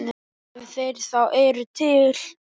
Ef þeir þá eru til.